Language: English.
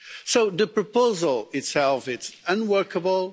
So the proposal itself is unworkable.